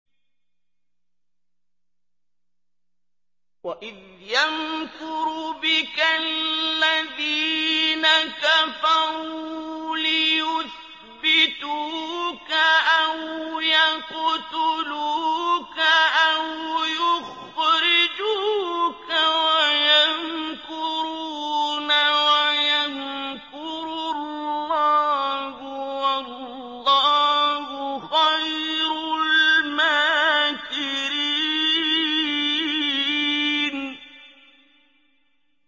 وَإِذْ يَمْكُرُ بِكَ الَّذِينَ كَفَرُوا لِيُثْبِتُوكَ أَوْ يَقْتُلُوكَ أَوْ يُخْرِجُوكَ ۚ وَيَمْكُرُونَ وَيَمْكُرُ اللَّهُ ۖ وَاللَّهُ خَيْرُ الْمَاكِرِينَ